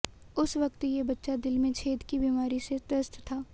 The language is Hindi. उस वक्त ये बच्चा दिल में छेद की बीमारी से त्रस्त था